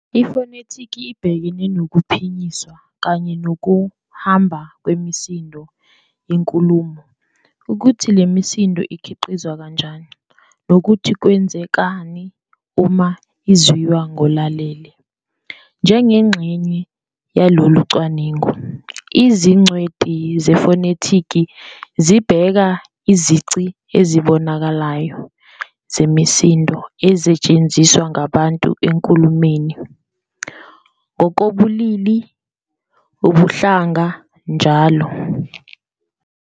Ifonetiki ibhekene nokuphinyiswa kanye nokuhamba kwemisindo yenkulumo, ukuthi le misindo ikhiqizwa kanjani, nokuthi kwenzekani uma izwiwa ngolalele. Njengengxenye yalolu cwaningo, izingcweti zefonetiki zibheka izici ezibonakalayo zemisindo ezetshenziswa ngabantu enkulumeni, ngokobulili, ubuhlanga, njll.